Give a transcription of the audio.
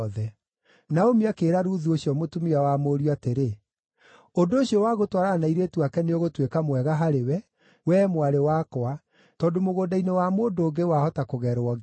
Naomi akĩĩra Ruthu ũcio mũtumia wa mũriũ atĩrĩ, “Ũndũ ũcio wa gũtwarana na airĩtu ake nĩũgũtuĩka mwega harĩwe, wee mwarĩ wakwa, tondũ mũgũnda-inĩ wa mũndũ ũngĩ wahota kũgerwo ngero.”